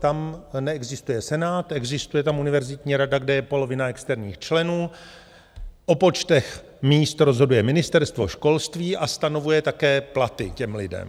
Tam neexistuje senát, existuje tam univerzitní rada, kde je polovina externích členů, o počtech míst rozhoduje ministerstvo školství a stanovuje také platy těm lidem.